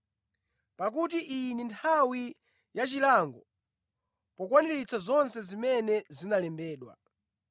Pakuti iyi ndi nthawi yachilango pokwaniritsa zonse zimene zinalembedwa.